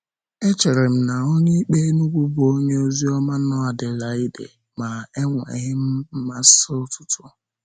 Echere m na Onyeikpe Enugu bụ onye oziọma nọ Adelaide, ma enweghị m mmasị ọtụtụ.